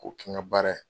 K'o kɛ n ka baara ye